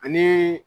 Ani